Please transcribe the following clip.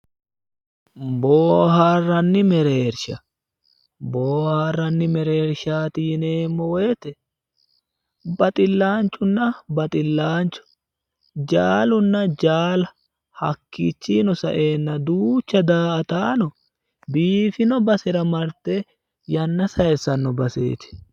Booharanni mereerisha, booharanni mereerishaati yineemo woyiitte baxilaanchunna baxilaancho, jaallunna jaalla, hakiichiyino sa'eenna duucha daa'ataano biifinno basera marte yanna sayiisanno baseeti.